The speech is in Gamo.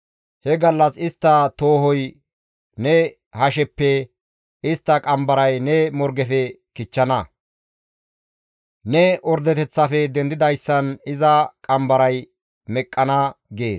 He gallas istta toohoy ne hasheppe, istta qambaray ne morgefe kichchana; ne ordeteththafe dendidayssan iza qambaray meqqana» gees.